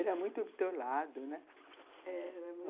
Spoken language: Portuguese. Era muito do teu lado, né? Eh, era muito